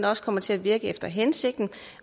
også kommer til at virke efter hensigten